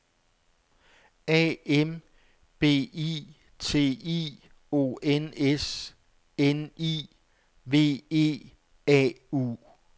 A M B I T I O N S N I V E A U